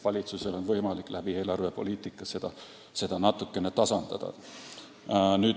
Valitsusel on võimalik eelarvepoliitikaga seda natukene tasandada.